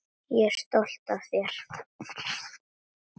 Ég er stolt af þér.